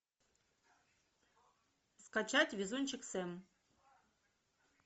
скачать везунчик сэм